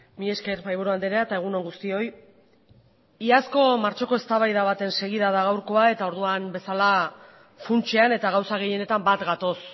mila esker mahaiburu andrea eta egun on guztioi iazko martxoko eztabaida baten segida da gaurkoa eta orduan bezala funtsean eta gauza gehienetan bat gatoz